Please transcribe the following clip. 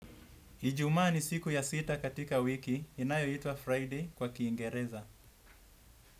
Ijumaa ni siku ya sita katika wiki inayoitwa Friday kwa Kiingereza.